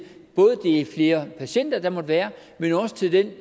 flere patienter der måtte være men jo også til den